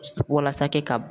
Walasa kɛ ka b